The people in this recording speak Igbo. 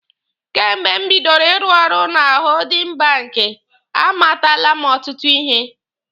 Kemgbe m bidoro ịrụ ọrụ na hoodin banki, a matala m ọtụtụ ihe.